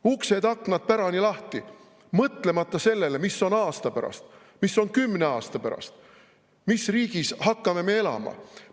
Uksed-aknad pärani lahti, mõtlemata sellele, mis on aasta pärast, mis on kümne aasta pärast, mis riigis me hakkame elama!